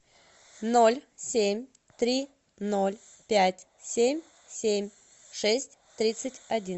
ноль семь три ноль пять семь семь шесть тридцать один